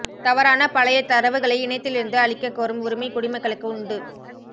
தவறான பழைய தரவுகளை இணையத்திலிருந்து அழிக்க கோரும் உரிமை குடிமக்களுக்கு உண்டு